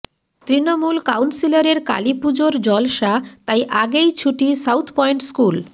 তৃণমূল কাউন্সিলরের কালীপুজোর জলসা তাই আগেই ছুটি সাউথ পয়েন্ট স্কুল